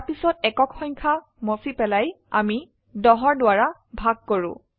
তাৰপিছত একক সংখ্যা মুছে পেলাই আমি ১0 দ্বাৰা ভাগ কৰো